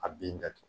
A bin datugu